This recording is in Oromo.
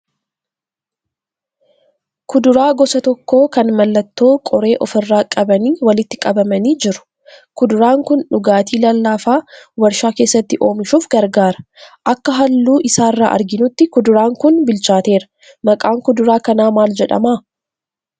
Kuduraa gosa tokko kan mallattoo qoree ofirraa qabanii walitti qabamanii jiru. Kuduraan kun dhugaatii lallaafaa warshaa keessatti oomishuuf gargaara. Akka halluu isaarra arginutti kuduraan kun bilchaateera. Maqaan kuduraa kanaa maal jedhema?